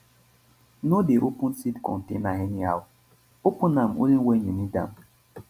no dey open seed container anyhow open am only when you need am.